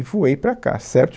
E voei para cá, certo?